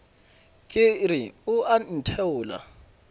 ke re o a ntheola